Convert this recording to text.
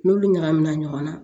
N'olu ɲagamina ɲɔgɔn na